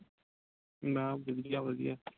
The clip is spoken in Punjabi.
ਮੈਂ ਠੀਕ ਆ ਵਧੀਆ